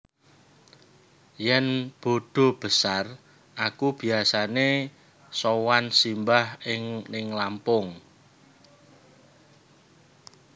Yen bodo besar aku biasane sowan simbah ning Lampung